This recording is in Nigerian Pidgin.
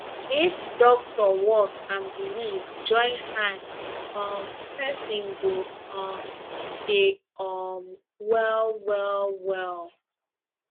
if doctor work and belief join hand um person go um dey um well wellwell